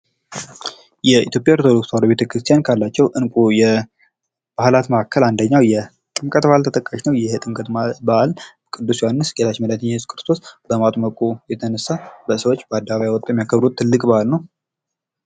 የኢትዮጵያ ኦርቶዶክስ ተዋህዶ ቤተክርስቲያን ካላቸው እንቁ ባህላት መካከል አንደኛው የጥምቀት ባህል ተጠቃሽ ነው። ይህ የጥምቀት ባህል ቅዱስ ዮሐኒስ ጌታችን መድሐኒታችን ኢየሱስ ክርስቶስ በማጥመቁ የተነሳ ሰዎች በአደባባይ ወጥተው የሚያከብሩት ትልቅ በሐል ነው።